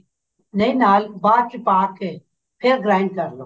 ਨਹੀਂ ਨਾਲ ਬਾਅਦ ਚ ਪਾ ਕੇ ਫ਼ੇਰ grind ਕਰਲੋ